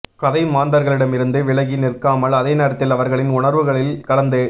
கதை மாந்தர்களிடமிருந்து விலகி நிற்காமல் அதே நேரத்தில் அவர்களின் உணர்வுகளில் கலந்து